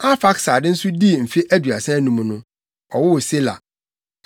Arfaksad nso dii mfe aduasa anum no, ɔwoo Sela.